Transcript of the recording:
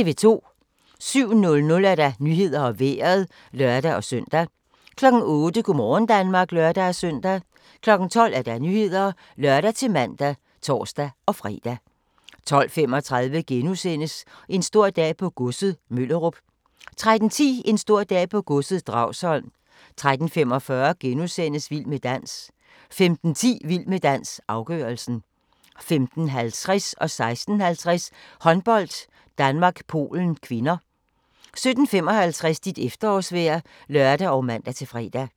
07:00: Nyhederne og Vejret (lør-søn) 08:00: Go' morgen Danmark (lør-søn) 12:00: Nyhederne (lør-man og tor-fre) 12:35: En stor dag på godset - Møllerup * 13:10: En stor dag på godset - Dragsholm 13:45: Vild med dans * 15:10: Vild med dans - afgørelsen 15:50: Håndbold: Danmark-Polen (k) 16:50: Håndbold: Danmark-Polen (k) 17:55: Dit efterårsvejr (lør og man-fre)